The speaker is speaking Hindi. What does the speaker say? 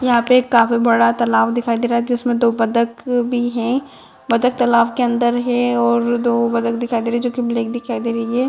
यहाँ पे एक काफी बड़ा तालाब दिखाई दे रहा है जिसमे दो बतख भी है बतख तालाब के अंदर है और दो बतख दिखाई दे रहे है जो की ब्लैक दिखाई दे रही है।